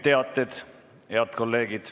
Nüüd teated.